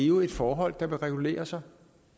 jo et forhold der vil regulere sig